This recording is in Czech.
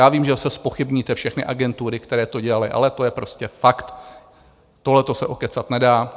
Já vím, že zase zpochybníte všechny agentury, které to dělaly, ale to je prostě fakt, tohleto se okecat nedá.